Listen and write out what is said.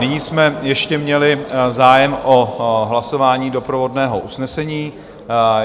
Nyní jsme ještě měli zájem o hlasování doprovodného usnesení.